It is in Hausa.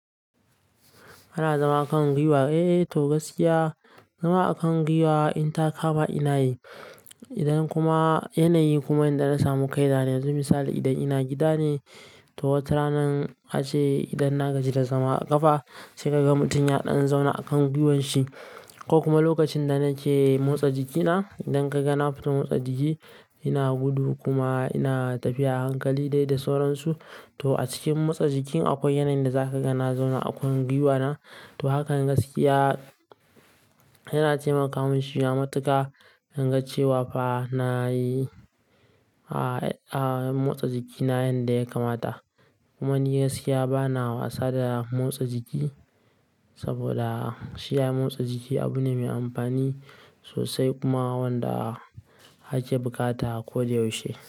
Kana zama kan gwiwa? Eh to gaskiya zama a kan gwiwa in ta kama ina yi. Idan kuma yanayi kuma inda na samu kaina dan To misali idan ina gida ne, to wata ranan ace idan na gaji da zama a ƙafa sai ka ga mutum ya ɗan zauna a kan gwiwan shi. Ko kuma lokacin da nake motsa jikina, idan ka ga na fita motsa jiki ina gudu kuma ina tafiya a hankali dai da sauransu. To a cikin motsa jiki akwai yanayin da zaka ga na zauna a kan gwiwa na. To hakan gaskiya yana taimaka mun shi ma matuka in ga cewa fa na yi a, a motsa jikina yanda ya kamata. Kuma gaskiya ba na wasa da motsa jiki saboda shi ai motsa jiki abu ne mai amfani sosai kuma wanda a ke bukata a ko da yaushe.